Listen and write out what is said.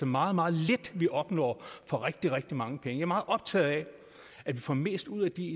meget meget lidt vi opnår for rigtig rigtig mange penge jeg er meget optaget af at vi får mest ud af de